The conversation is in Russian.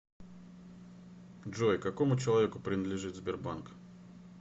джой какому человеку принадлежит сбербанк